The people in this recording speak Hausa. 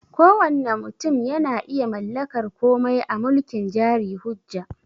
Kowanne mutum yana iya mallakar komai a mulkin jari hujja